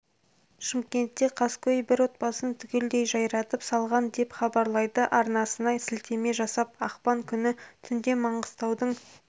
шымкентте қаскөй бір отбасын түгелдей жайратып салған деп хабарлайды арнасына сілтеме жасап ақпан күні түнде маңғыстаудың